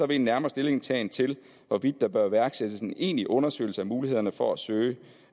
vil en nærmere stillingtagen til hvorvidt der bør iværksættes en egentlig undersøgelse af mulighederne for at søge